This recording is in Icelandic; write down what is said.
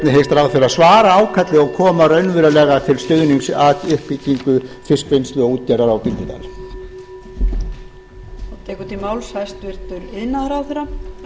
ráðherra svara ákalli og koma raunverulega til stuðnings að uppbyggingu fiskvinnslu og útgerðar á bíldudal